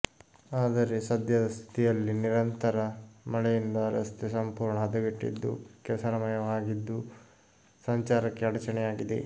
ಆದರೆ ಸದ್ಯದ ಸ್ಥಿತಿಯಲ್ಲಿ ನಿರಂತರ ಮಳೆಯಿಂದ ರಸ್ತೆ ಸಂಪೂರ್ಣ ಹದೆಗೆಟ್ಟಿದ್ದು ಕೆಸರಮಯವಾಗಿದ್ದು ಸಂಚಾರಕ್ಕೆ ಆಡಚಣೆಯಾಗಿದೆ